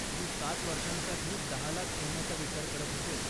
मी सात वर्षांसाठी दहा लाख ठेवण्याचा विचार करत होते.